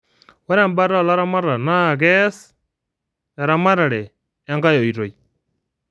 ore embata oo laamatak naakees eamatare enkae ooitoi